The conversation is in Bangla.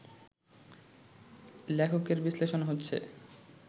লেখকের বিশ্লেষণ হচ্ছে